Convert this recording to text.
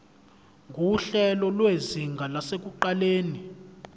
nguhlelo lwezinga lasekuqaleni